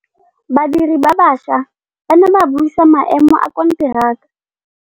Badiri ba baša ba ne ba buisa maêmô a konteraka.